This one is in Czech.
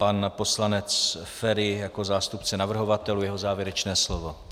Pan poslanec Feri jako zástupce navrhovatelů, jeho závěrečné slovo.